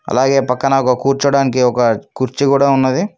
అలాగే పక్కన కూర్చోడానికి ఒక కుర్చీ కూడా ఉన్నది.